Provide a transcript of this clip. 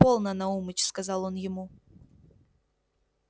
полно наумыч сказал он ему